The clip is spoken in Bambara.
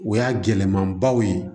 O y'a gɛlɛmabaw ye